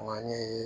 Maɲi